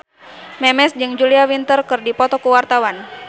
Memes jeung Julia Winter keur dipoto ku wartawan